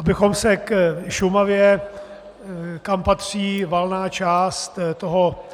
Abychom se k Šumavě, kam patří valná část toho